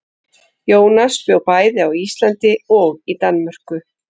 Jónas bjó bæði á Íslandi og í Danmörku.